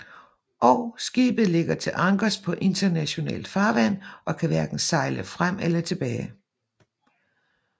Og skibet ligger til ankers på internationalt farvand og kan hverken sejle frem eller tilbage